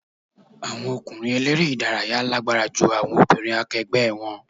Àwọn ọkùnrin eléré ìdárayá lágbára ju àwọn obìnrin akẹgbẹ́ wọn.